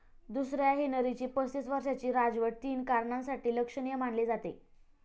दुसऱ्या हेनरीची पस्तीस वर्षाची राजवट तीन कारणांसाठी लक्षणीय मानली जाते.